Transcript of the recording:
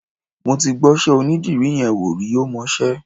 Mo ti gbọ́ṣẹ́ onídìrí yẹn wò rí, ó mọṣẹ́.